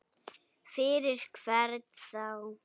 Fyrir hvern þá?